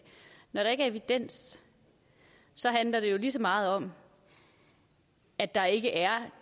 er evidens handler det jo lige så meget om at der ikke er